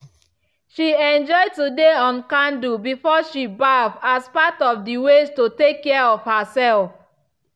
she enjoy to dey on candle before she baff as part of the way to take care of herself.